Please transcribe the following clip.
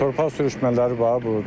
Torpaq sürüşmələri var burda.